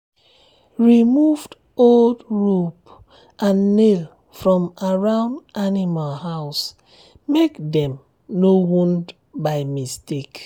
remove old rope and nail from around um animal house make um dem no wound by mistake.